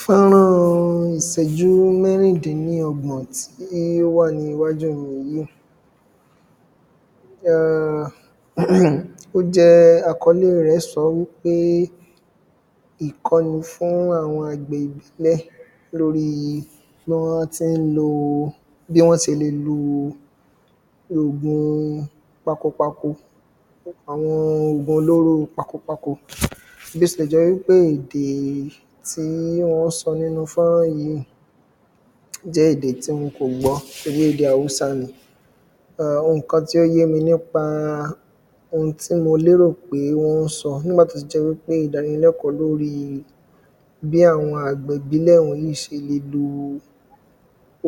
Fọ́nrán ìṣẹ́jú mẹ́rindínlógbọ̀n tí ó wà níwájú mi yìí, ehn, hmm, ó jẹ àkọlé rẹ sọ wí pé ìkànnì fún àwọn agbẹ̀ ìbílẹ̀ lórí Fọ́nrán tí ń lo bí wọn ṣe le lò oògùn pakopako, àwọn oògùn olóró pakopako, bí ó tilẹ̀ jẹ́ pé èdè tí wọn ń sọ nínú Fọ́nrán yìí jẹ èdè tí wọn kò gbọ́, nítorí èdè Haúsá ni, ehn nǹkan tí ó yé mi nípa ohun tí mo lérò pé wọn ń sọ nígbà tí ó ti jẹ́ idánilẹ̀kọ̀ọ́ lórí bí àwọn agbẹ̀ ìbílẹ̀̀ wọ̀nyí ṣe le lò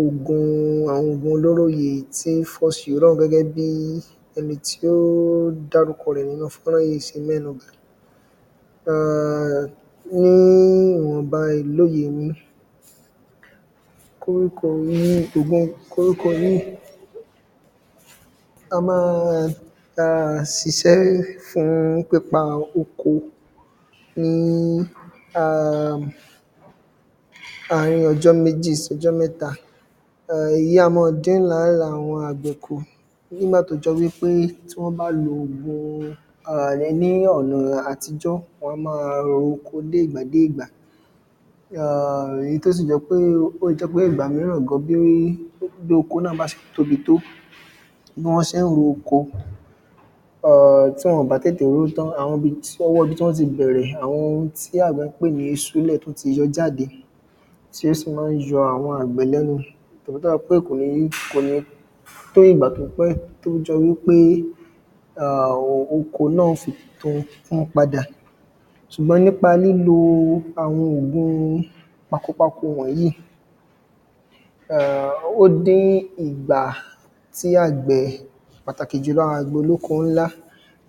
oògùn, àwọn oògùn olóró yìí tí ń fọ́ ṣirọ́ gẹ́gẹ́ bí ẹni tí ó dárúkọ rẹ nínú Fọ́nrán yìí ṣe mẹ́nu bà, ehn níwọ̀n ba ilóye mi koríko yìí a máa ṣiṣẹ́ fún pípa oko ni àárín ọjọ́ méjì sí ọjọ́ mẹ́ta, èyí á máa dín làálàá àwọn agbẹ̀ kù nígbà tí ó jẹ wí pé tí wọn bá lo oògùn ni ọ̀nà àtijọ́ a máa roko láti ìgbà dé ìgbà, hmm, èyí tí ó sì jẹ pé ìgbà mìíràn gan bí oko náà bá a ṣe tóbi tó, bí ó bá ṣe ro oko, ehn tí wọn bá tètè ró tán àwọn ibi tí wọn tí bẹ̀rẹ̀, àwọn ibi tí agbẹ̀ pè ní ìsúnlẹ̀̀ tí ó ti yọ jáde ti ó sí máa ń yọ àwọn agbẹ̀ lẹ́nu nítorí tí ó bá ní pé kò ní fún ìgbà tí ó pẹ́ tí ó jẹ wí pé oko náà yóò fi kún padà, ṣùgbọ́n nípa lílo àwọn oògùn pakopako wọ̀nyí, ó di ìgbà tí agbẹ̀ pàtàkì jù agbẹ̀ olóko ńlá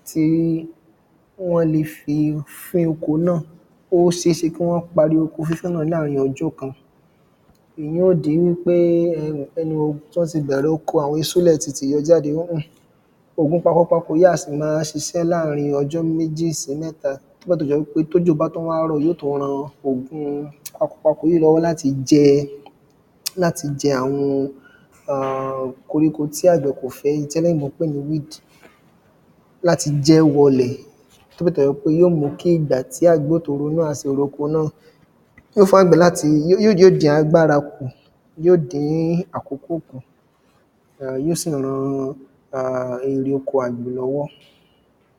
ti wọn le fí fín oko náà, ó ṣe é ṣe kí wọn parí oko fífín náà láàárín ọjọ́ kan, èyí yóò di wí pé bẹ̀rẹ̀ oko àwọn ìsúnlẹ̀ tún ti yóò jáde, oògùn pakopako a ṣí máa ṣiṣẹ́ láàárín ọjọ́ méjì sí mẹ́ta nígbà tí ó jẹ wí pé tí òjò bá a tún wà ran oògùn pakopako yìí lọ́wọ́ láti máa jẹ, láti jẹ àwọn ehn koríko tí agbẹ̀ kò fẹ́ tí àwọn olóyìnbó ń pè ní "weed" láti jẹ wọ̀lẹ̀ tí ó tún jẹ́ pé yóò mú ìgbà tí agbẹ̀ náà a tún ronú, fún agbẹ̀ láti, yóò dín agbára kù, yóò dín àkókò kù, yóò sì ran ère oko agbẹ̀ lọ́wọ́.